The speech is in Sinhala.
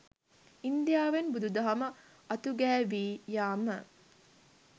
ඉන්දියාවෙන් බුදුදහම අතුගෑවී යාම